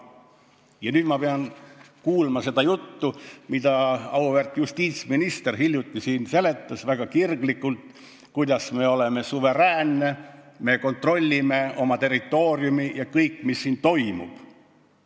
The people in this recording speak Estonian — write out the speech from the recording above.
Ja nüüd ma pidin kuulma, kuidas auväärt justiitsminister siin väga kirglikult seletas, et me oleme suveräänne riik, me kontrollime oma territooriumi ja kõike, mis siin toimub.